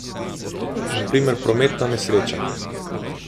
Na primer prometna nesreča.